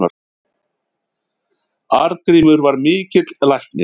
Arngrímur var mikill læknir.